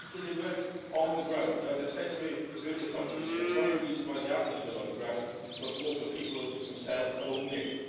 They have delivered on the ground. As I said in my earlier contribution, one of the reasons why they have delivered on the ground is because local people themselves have owned it.